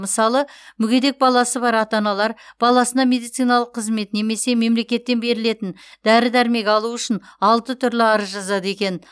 мысалы мүгедек баласы бар ата аналар баласына медициналық қызмет немесе мемлекеттен берілетін дәрі дәрмек алу үшін алты түрлі арыз жазады екен